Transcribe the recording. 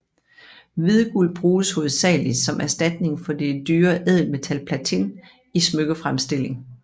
Hvidguld bruges hovedsageligt som erstatning for det dyre ædelmetal platin i smykkefremstilling